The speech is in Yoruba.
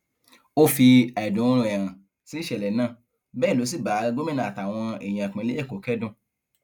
ó fi àìdùnnú rẹ hàn sí ìṣẹlẹ náà bẹẹ ló sì bá gómìnà àtàwọn èèyàn ìpínlẹ èkó kẹdùn